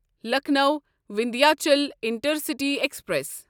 Lucknow Vindhyachal intercity express